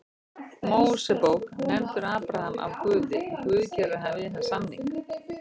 Mósebók nefndur Abraham af Guði er Guð gerir við hann samning: